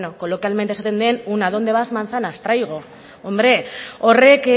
coloquialmente esaten den un a dónde vas manzanas traigo horrek